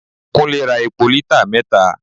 Kunle ra epo lítà mẹta.